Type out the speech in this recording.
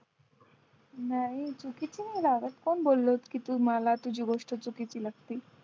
नाही चुकीची नाही लागत कोण बोललं की तू मला तुझी गोष्ट चुकीची वाटती